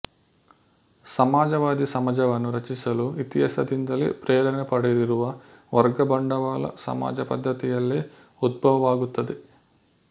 ಸಮಾಜವಾದಿ ಸಮಾಜವನ್ನು ರಚಿಸಲು ಇತಿಹಾಸದಿಂದಲೇ ಪ್ರೇರಣೆ ಪಡೆದಿರುವ ವರ್ಗ ಬಂಡವಾಳ ಸಮಾಜ ಪದ್ಧತಿಯಲ್ಲೇ ಉದ್ಭವವಾಗುತ್ತದೆ